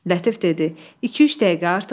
Lətif dedi: İki-üç dəqiqə artıq yox.